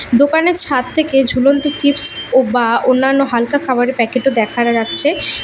দোকানের ছাদ থেকে ঝুলন্ত চিপস ও বা অন্যান্য হালকা খাবারের প্যাকেট -ও দেখারা যাচ্ছে।